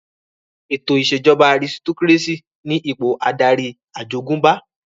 Ètò ìṣèjọba àrisitokírésì ní ipò adarí àjogúnbá